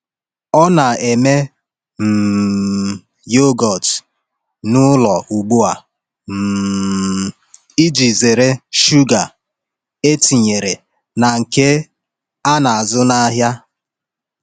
Ọ na-eme um yogọt n’ụlọ ugbu a um iji zere shuga e tinyere na nke a na-azụ n’ahịa.